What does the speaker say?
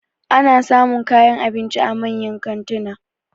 Ana samun kayan abinci a manyan kantuna.